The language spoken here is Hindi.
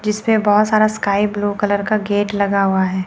जिस पे बहुत सारा स्काई ब्लू कलर का गेट लगा हुआ है।